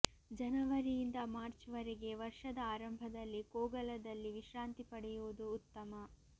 ಜನವರಿಯಿಂದ ಮಾರ್ಚ್ ವರೆಗೆ ವರ್ಷದ ಆರಂಭದಲ್ಲಿ ಕೋಗಲದಲ್ಲಿ ವಿಶ್ರಾಂತಿ ಪಡೆಯುವುದು ಉತ್ತಮ